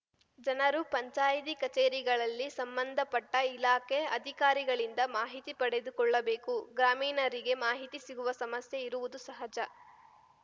ಜನರು ಪಂಚಾಯಿತಿ ಕಚೇರಿಗಳಲ್ಲಿ ಸಂಬಂಧಪಟ್ಟಇಲಾಖೆ ಅಧಿಕಾರಿಗಳಿಂದ ಮಾಹಿತಿ ಪಡೆದುಕೊಳ್ಳಬೇಕು ಗ್ರಾಮೀಣರಿಗೆ ಮಾಹಿತಿ ಸಿಗುವ ಸಮಸ್ಯೆ ಇರುವುದು ಸಹಜ